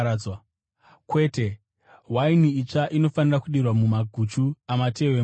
Kwete, waini itsva inofanira kudirwa mumaguchu amatehwe matsva.